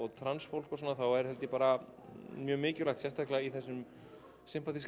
transfólk og svona þá er bara mjög mikilvægt sérstaklega í þessum